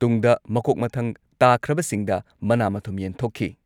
ꯇꯨꯡꯗ ꯃꯀꯣꯛ ꯃꯊꯪ ꯇꯥꯈ꯭ꯔꯕꯁꯤꯡꯗ ꯃꯅꯥ ꯃꯊꯨꯝ ꯌꯦꯟꯊꯣꯛꯈꯤ ꯫